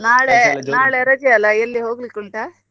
ನಾಳೆ ನಾಳೆ ರಜೆ ಅಲ್ಲ ಎಲ್ಲಿ ಹೋಗ್ಲಿಕ್ಕುಂಟಾ?